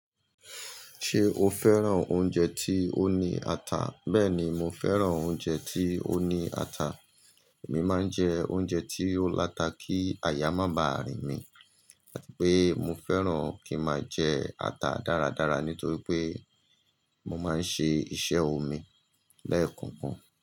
Ṣé o fẹ́ràn oúnjẹ tí ó ní ata? Bẹ́ẹ̀ni, mo fẹ́ràn oúnjẹ tí ó ní ata. Èmi máa ń jẹ oúnjẹ tí ó lata kí àyà má bà rìn mi, àti pé mo fẹ́ràn kí n máa jẹ ata dáradára nítorí pé mo máa ń ṣe iṣẹ́ omi lẹ́ẹ̀kọ̀kan.